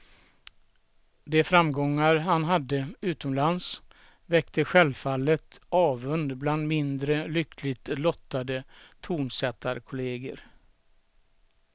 De framgångar han hade utomlands väckte självfallet avund bland mindre lyckligt lottade tonsättarkolleger.